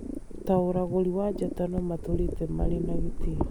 ta ũragũri wa njata no matũũrĩte marĩ na gĩtĩo.